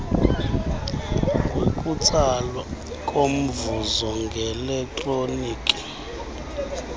ngokutsalwa komvuzo ngeletroniki